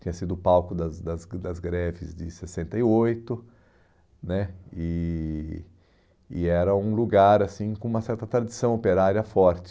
Tinha sido palco das das das greves de sessenta e oito né e e era um lugar assim com uma certa tradição operária forte.